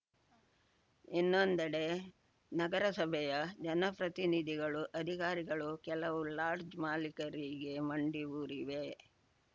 ಇನ್ನೊಂದೆಡೆ ನಗರಸಭೆಯ ಜನಪ್ರತಿನಿಧಿಗಳು ಅಧಿಕಾರಿಗಳು ಕೆಲವು ಲಾಡ್ಜ್‌ ಮಾಲೀಕರಿಗೆ ಮಂಡಿ ಊರಿವೆ